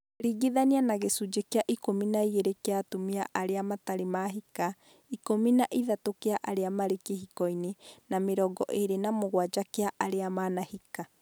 ringithania na gĩcunjĩ kĩa ikũmi na igĩrĩ kĩa atumia arĩa matarĩ Mahika, ikũmi na ithatũ kĩa arĩa marĩ kĩhiko-inĩ na mĩrongo ĩĩrĩ na mũgwanja kĩa arĩa manahika